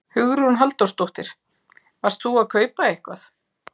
Hugrún Halldórsdóttir: Varst þú að kaupa eitthvað?